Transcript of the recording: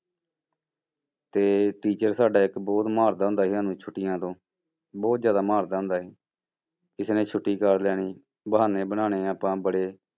ਤੇ teacher ਸਾਡਾ ਇੱਕ ਬਹੁਤ ਮਾਰਦਾ ਹੁੰਦਾ ਸੀ ਸਾਨੂੰ ਛੁੱਟੀਆਂ ਤੋਂ, ਬਹੁਤ ਜ਼ਿਆਦਾ ਮਾਰਦਾ ਹੁੰਦਾ ਸੀ, ਕਿਸੇ ਨੇ ਛੁੱਟੀ ਕਰ ਲੈਣੀ ਬਹਾਨੇ ਬਣਾਉਣੇ ਆਪਾਂ ਬੜੇ।